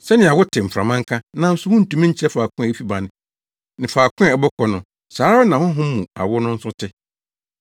Sɛnea wote mframa nka, nanso wuntumi nkyerɛ faako a efi ba ne faako a ɛbɔ kɔ no, saa ara na Honhom mu awo no nso te.”